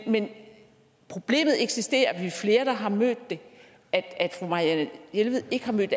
men problemet eksisterer vi er flere der har mødt det at fru marianne jelved ikke har mødt